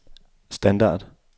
standard